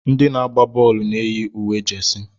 Ndị na-agba bọọlụ na-eyi uwe jesi.